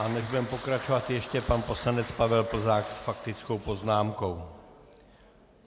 A než budeme pokračovat, ještě pan poslanec Pavel Plzák s faktickou poznámkou.